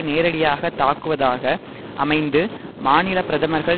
நேரடியாக தாக்குவதாக அமைந்து மாநில பிரதமர்கள்